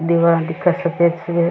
दिवार दिखे सफ़ेद सी है।